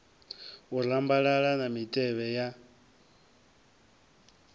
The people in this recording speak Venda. u rambalala na mitevhe ya